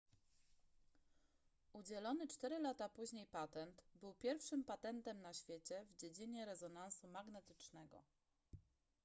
udzielony cztery lata później patent był pierwszym patentem na świecie w dziedzinie rezonansu magnetycznego